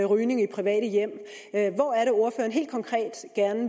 rygning i private hjem hvor er